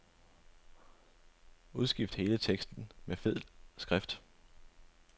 Udskift hele teksten med fed skrift.